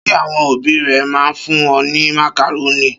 Ṣé àwọn òbí rẹ máa ń fún ọ ní màkàrónì?